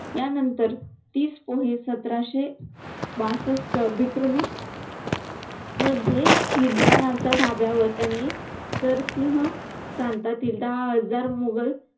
यानंतर तीस पोहे सतराशे बासष्ट विक्रमी मध्ये खिद्राण्याच्या धाब्यावर त्यांनी सरसिंह प्रांतातील दहा हजार मुघल